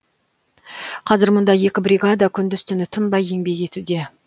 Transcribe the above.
қазір мұнда екі бригада күндіз түні тынбай еңбектенуде